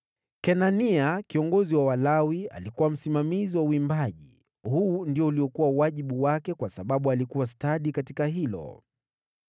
Kenania kiongozi wa Walawi alikuwa msimamizi wa uimbaji; huu ndio uliokuwa wajibu wake kwa sababu alikuwa stadi katika hilo.